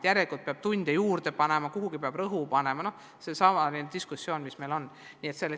Järelikult peab tunde juurde panema, kuhugi peab rohkem rõhu panema – seesama diskussioon, mis meil on olnud.